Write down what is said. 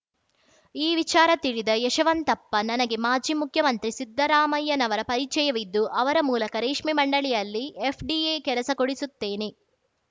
ಈ ವಿಚಾರ ತಿಳಿದ ಯಶವಂತಪ್ಪ ನನಗೆ ಮಾಜಿ ಮುಖ್ಯಮಂತ್ರಿ ಸಿದ್ದರಾಮಯ್ಯನವರ ಪರಿಚಯವಿದ್ದು ಅವರ ಮೂಲಕ ರೇಷ್ಮೆ ಮಂಡಳಿಯಲ್ಲಿ ಎಫ್‌ಡಿಎ ಕೆಲಸ ಕೊಡಿಸುತ್ತೇನೆ